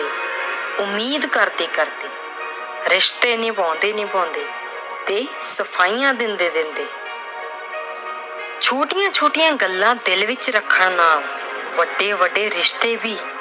ਉਮੀਦ ਕਰਦੇ-ਕਰਦੇ, ਰਿਸ਼ਤੇ ਨਿਭਾਉਂਦੇ-ਨਿਭਾਉਂਦੇ ਤੇ ਸਫਾਈਆਂ ਦਿੰਦੇ-ਦਿੰਦੇ। ਛੋਟੀਆਂ-ਛੋਟੀਆਂ ਗੱਲਾਂ ਦਿਲ ਵਿੱਚ ਰੱਖਣ ਨਾਲ ਵੱਡੇ-ਵੱਡੇ ਰਿਸ਼ਤੇ ਵੀ